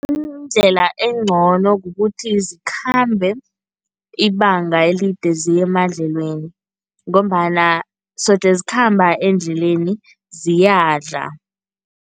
Indlela engcono kukuthi zikhambe ibanga elide ziye emadlelweni ngombana soje zikhamba endleleni, ziyadlala.